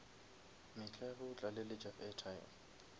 mehla ge o tlaleletša airtime